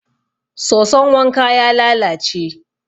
soson wanka ya lalace